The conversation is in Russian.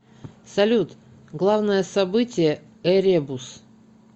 салют главное событие эребус